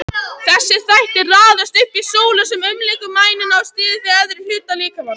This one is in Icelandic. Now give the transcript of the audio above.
Þessir þættir raðast upp í súlu sem umlykur mænuna og styður við efri hluta líkamans.